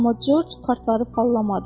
Amma Corc kartları paylamadı.